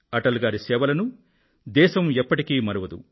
అటల్ గారి సేవలను దేశం ఎప్పటికీ మరువదు